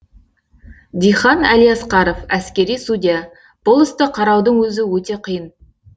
дихан әлиасқаров әскери судья бұл істі қараудың өзі өте қиын